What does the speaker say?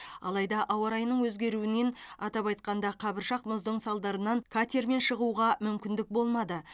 алайда ауа райының өзгеруінен атап айтқанда қабыршақ мұздың салдарынан катермен шығуға мүмкіндік болмады